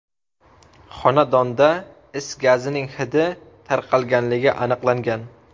Xonadonda is gazining hidi tarqalganligi aniqlangan.